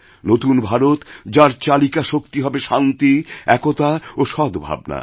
নতুন ভারত যার চালিকা শক্তি হবেশান্তি একতা ও সদ্ভাবনা